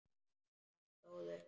Hann stóð upp.